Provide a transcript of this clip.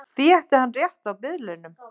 Því ætti hann rétt á biðlaunum